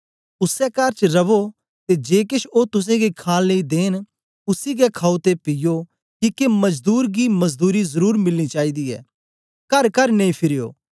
उसै कर च रवो ते जे केछ ओ तुसेंगी खाण लेई देंन उसी गै खाओ ते पीयो किके मजदूर गी मजदूरी जरुर मिलनी चाईदी ऐ करकर नेई फिरयो